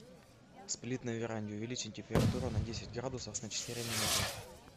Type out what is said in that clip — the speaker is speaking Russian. сплит на веранде увеличить температуру на десять градусов на четыре минуты